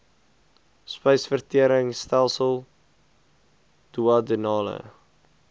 spysvertering stelsel duodenale